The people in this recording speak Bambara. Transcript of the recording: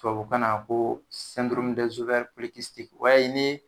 Tababu kan na a ko o y'a ye ni